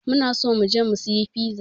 Muna so mu je mu sayi fiza.